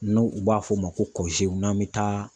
N'u b'a f'o ma ko n'an bɛ taa.